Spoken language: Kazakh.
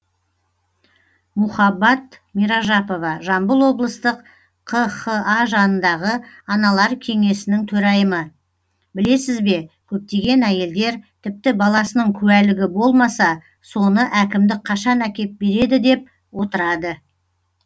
мухаббат миражапова жамбыл облыстық қха жанындағы аналар кеңесінің төрайымы білесіз бе көптеген әйелдер тіпті баласының куәлігі болмаса соны әкімдік қашан әкеп береді деп отырады